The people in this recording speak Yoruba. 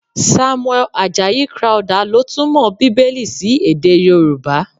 Samuel Ajayi Crowther ló túmọ̀ Bíbélì sí èdè Yorùbá.